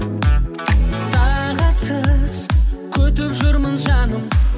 тағатсыз күтіп жүрмін жаным